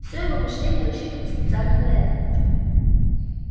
всё его мышление рассчитано специально на это